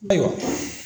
Ayiwa